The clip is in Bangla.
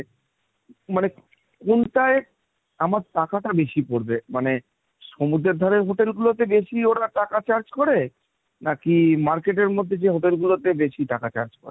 মানে কোনটায় আমার টাকাটা বেশি পড়বে? মানে সমুদ্রের ধারে hotel গুলোতে বেশি ওরা টাকা charge করে, নাকি market এর মধ্যে যে hotel গুলোতে বেশি টাকা charge করে?